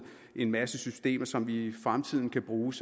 en masse systemer som vi i fremtiden kan bruge